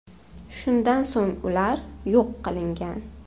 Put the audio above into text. Shundan so‘ng ular yo‘q qilingan.